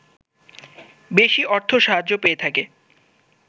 বেশি অর্থ সাহায্য পেয়ে থাকে